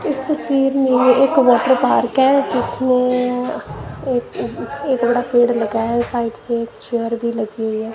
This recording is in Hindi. इस तस्वीर में एक वाटर पार्क है जिसमें एक एक बड़ा पेड़ लगाया है साइट पे एक चेयर भी लगी हुई है।